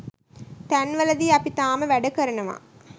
තැන්වලදී අපි තාම වැඩ කරනවා.